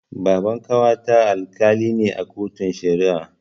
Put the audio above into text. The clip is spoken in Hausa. Baban ƙawata Alkali ne a kotun Shari'a.